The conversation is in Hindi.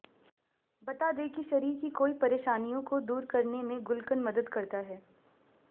बता दें कि शरीर की कई परेशानियों को दूर करने में गुलकंद मदद करता है